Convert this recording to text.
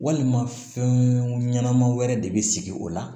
Walima fɛn ɲɛnama wɛrɛ de bɛ sigi o la